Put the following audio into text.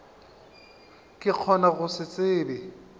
ka gona go se tsebe